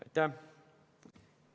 Aitäh!